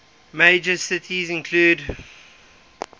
major cities include